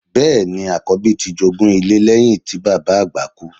Bẹ́ẹ̀ ni, àkọ̀bí ti jogún ilé lẹ́yìn tí bàbá àgbà kú.